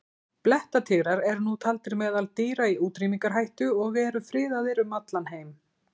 Blettatígrar eru nú taldir meðal dýra í útrýmingarhættu og eru friðaðir um allan heim.